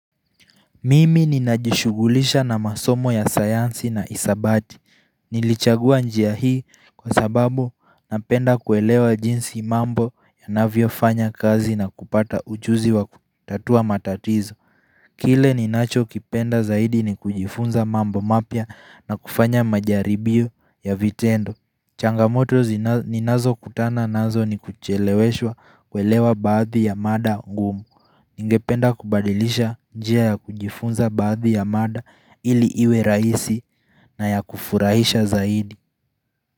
Mimi ninajishugulisha na masomo ya sayansi na isabati Nilichagua njia hii kwa sababu napenda kuelewa jinsi mambo yanavyofanya kazi na kupata ujuzi wa kutatua matatizo Kile ninachokipenda zaidi ni kujifunza mambo mapya na kufanya majaribio ya vitendo changamoto ninazo kutana nazo ni kucheleweshwa kuelewa baadhi ya mada ngumu Ningependa kubadilisha jia ya kujifunza baadhi ya mada ili iwe raisi na ya kufurahisha zaidi.